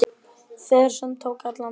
Ferð sem tók allan daginn.